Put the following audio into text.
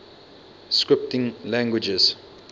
scripting languages